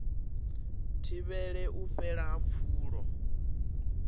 thivhele u fhela ha pfulo